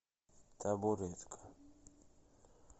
табуретка